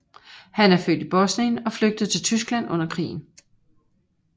Han er født i Bosnien og flygtede til Tyskland under krigen